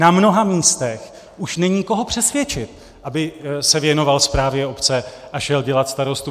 Na mnoha místech už není koho přesvědčit, aby se věnoval správě obce a šel dělat starostu.